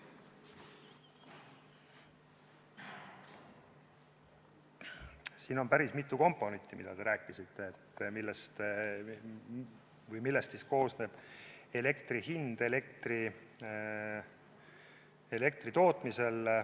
Siin on päris mitu komponenti, millest te rääkisite, millest koosneb elektri hind elektri tootmisel.